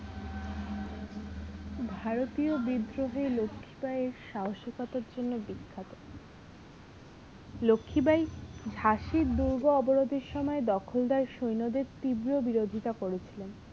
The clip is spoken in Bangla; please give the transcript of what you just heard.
ভারতীয় বিদ্রোহে লক্ষীবাঈ সাহসিকতার জন্য বিখ্যাত লক্ষীবাঈ ঝাঁসির দুর্গ অবরোধের সময় দখলদার সৈন্য দের তীব্র বিরোধিতা করেছিলেন